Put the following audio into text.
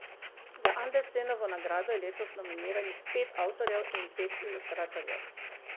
Za Andersenovo nagrado je letos nominiranih pet avtorjev in pet ilustratorjev.